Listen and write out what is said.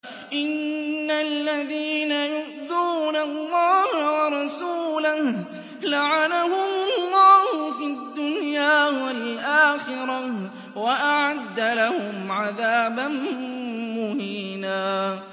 إِنَّ الَّذِينَ يُؤْذُونَ اللَّهَ وَرَسُولَهُ لَعَنَهُمُ اللَّهُ فِي الدُّنْيَا وَالْآخِرَةِ وَأَعَدَّ لَهُمْ عَذَابًا مُّهِينًا